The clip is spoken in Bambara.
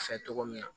Fɛ cogo min na